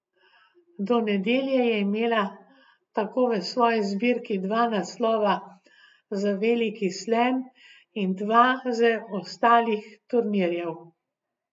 Do nedelje je imela tako v svoji zbirki dva naslova za veliki slam in dva z ostalih turnirjev ...